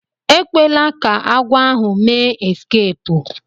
Ekwela ka agwo ahu mee eskeepu.